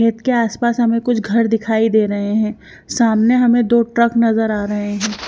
खेत के आसपास हमें कुछ घर दिखाई दे रहे हैं सामने हमें दो ट्रक नजर आ रहे हैं।